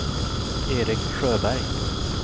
Erik Sjöberg